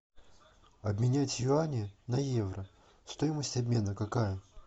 обменять юани на евро стоимость обмена какая